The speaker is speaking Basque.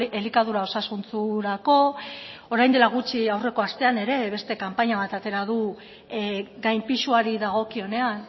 elikadura osasuntsurako orain dela gutxi aurreko astean ere beste kanpaina bat atera du gainpisuari dagokionean